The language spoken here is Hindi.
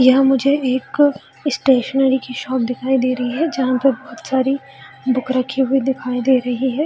यहाँ मुझे एक स्टेशनरी की शॉप दिखाई दे रही हैं जहाँ पे बहुत सारी बुक रखी हुई दिखाई दे रही हैं।